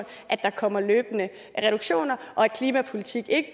at der kommer løbende reduktioner og at klimapolitik ikke